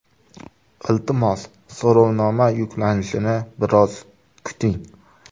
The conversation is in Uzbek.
Iltimos, so‘rovnoma yuklanishini biroz kuting.